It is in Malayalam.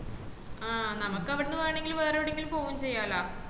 ആഹ് നമക്ക് അവിടന്ന് വേണെങ്കിൽ വേറെ എവിടെങ്കിൽ പോവേം ചെയ്യലൊ